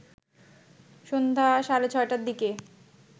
সন্ধ্যা সাড়ে ৬টার দিকে